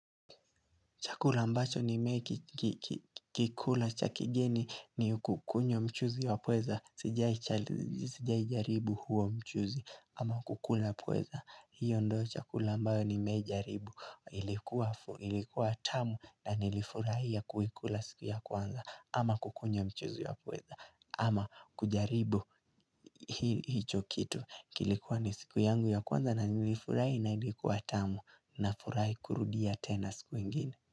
Chakula ambacho nimekikula cha kigeni ni kukunywa mchuzi wa pweza, sijai jaribu huo mchuzi, ama kukula pweza, hiyo ndio chakula ambayo nimewai jaribu, ilikuwa tamu na nilifurahia kuikula siku ya kwanza, ama kukunywa mchuzi wa pweza, ama kujaribu hicho kitu, kilikuwa ni siku yangu ya kwanza na nilifurahi na ilikuwa tamu, nafurahi kurudia tena siku ingine.